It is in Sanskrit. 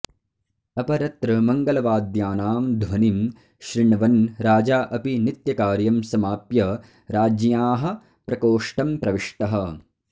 अपरत्र मङ्गलवाद्यानां ध्वनिं शृण्वन् राजा अपि नित्यकार्यं समाप्य राज्ञ्याः प्रकोष्टं प्रविष्टः